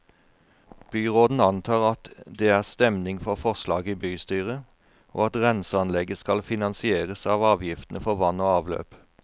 Byråden antar at det er stemning for forslaget i bystyret, og at renseanlegget skal finansieres av avgiftene for vann og avløp.